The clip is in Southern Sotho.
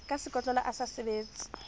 ka sekotlolo a sa sebetse